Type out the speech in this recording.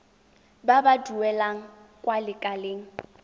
ba ba duelang kwa lekaleng